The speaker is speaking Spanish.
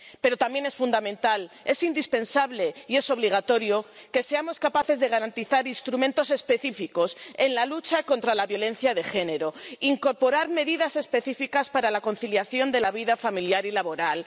Pero también es fundamental, es indispensable y es obligatorio que seamos capaces de garantizar instrumentos específicos en la lucha contra la violencia de género, de incorporar medidas específicas para la conciliación de la vida familiar y laboral